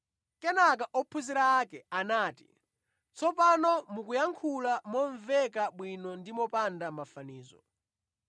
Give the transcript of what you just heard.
Kenaka ophunzira ake anati, “Tsopano mukuyankhula momveka bwino ndi mopanda mafanizo.